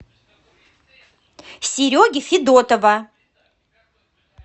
сереги федотова